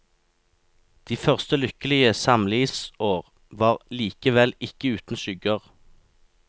De første lykkelige samlivsår var likevel ikke uten skygger.